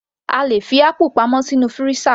A lè fi apple náà pamọ́ sínú freezer